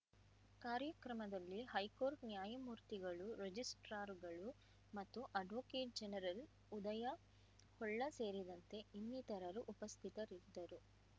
ಕಾರ್ಯಕ್ರಮದಲ್ಲಿ ಹೈಕೋರ್ಟ್‌ ನ್ಯಾಯಮೂರ್ತಿಗಳು ರಿಜಿಸ್ಟ್ರಾರ್‌ರುಗಳು ಮತ್ತು ಅಡ್ವೋಕೇಟ್‌ ಜನರಲ್‌ ಉದಯ ಹೊಳ್ಳ ಸೇರಿದಂತೆ ಇನ್ನಿತರರು ಉಪಸ್ಥಿತರಿದ್ದರು